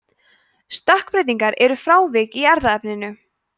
stökkbreytingar eru frávik í erfðaefninu